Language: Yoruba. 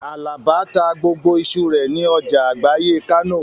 Àlàbá ta gbogbo iṣu rẹ̀ ní ọjà àgbáyé Kánò